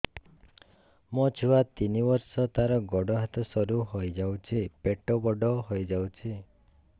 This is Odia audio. ମୋ ଛୁଆ ତିନି ବର୍ଷ ତାର ଗୋଡ ହାତ ସରୁ ହୋଇଯାଉଛି ପେଟ ବଡ ହୋଇ ଯାଉଛି